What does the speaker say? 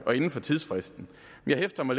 vi beder om at